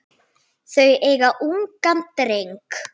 Þau eiga ungan dreng.